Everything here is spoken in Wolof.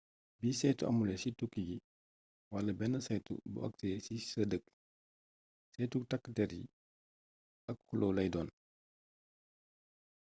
bi saytu amulé ci tukki gi wala bénn saytu bo aksé ci sa dëkk saytuk takk dér yi ak xulloo lay doon